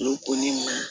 Olu ko ni ma